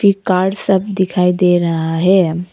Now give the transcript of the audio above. ये कार सब दिखाई दे रहा है।